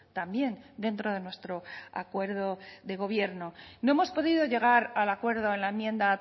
también dentro de nuestro acuerdo de gobierno no hemos podido llegar al acuerdo en la enmienda